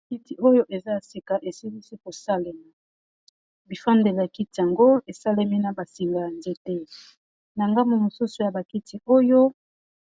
Bakiti oyo eza ya sika esilisi kosalema bifandele ya kiti yango esalemi na basinga ya nzete na ngambu mosusu ya bakiti oyo